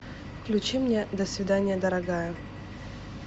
включи мне до свидания дорогая